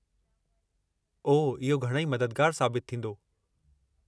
ओह, इहो घणई मददुगारु साबितु थींदो।